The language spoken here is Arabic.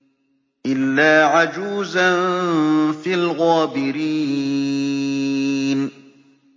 إِلَّا عَجُوزًا فِي الْغَابِرِينَ